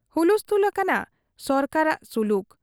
ᱦᱩᱞᱛᱷᱩᱞ ᱟᱠᱟᱱᱟ ᱥᱚᱨᱠᱟᱨᱟᱜ ᱥᱩᱞᱩᱠ ᱾